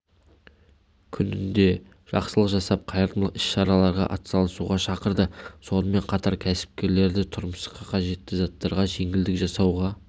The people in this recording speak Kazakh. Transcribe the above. күнінде жақсылық жасап қайырымдылық іс-шараларға атсалысуға шақырды сонымен қатар кәсіпкерлерді тұрмысқа қажетті заттарға жеңілдік жасауға